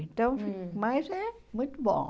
Então, mas é muito bom.